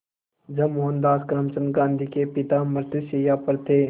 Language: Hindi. जब मोहनदास करमचंद गांधी के पिता मृत्युशैया पर थे